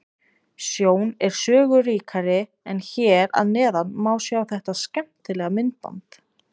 Sjón er sögu ríkari en hér að neðan má sjá þetta skemmtilega myndband.